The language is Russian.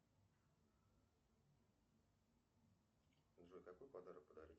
джой какой подарок подарить